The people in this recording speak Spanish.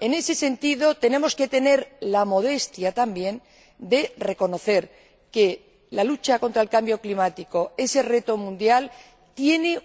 En ese sentido hemos de tener la modestia también de reconocer que la lucha contra el cambio climático ese reto mundial ofrece